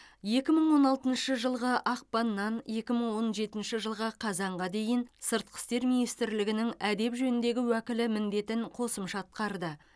екі мың он алтыншы жылғы ақпаннан екі мың он жетінші жылғы қазанға дейін сыртқы істер министрлігінің әдеп жөніндегі уәкілі міндетін қосымша атқарды